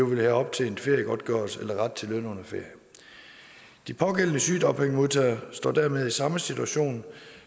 vil have optjent feriegodtgørelse eller ret til løn under ferie de pågældende sygedagpengemodtagere står dermed i samme situation